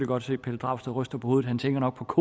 godt se pelle dragsted ryster på hovedet han tænker nok